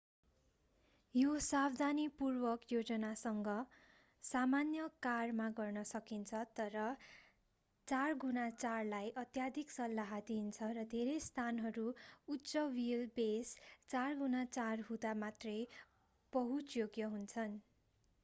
यो सावधानीपूर्वक योजनासँग सामान्य कारमा गर्न सकिन्छ तर 4x4लाई अत्याधिक सल्लाह दिइन्छ र धेरै स्थानहरू उच्च व्हील बेस 4x4 हुँदा मात्रै पहुँचयोग्य हुन्छन्।